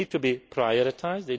They need to be prioritised.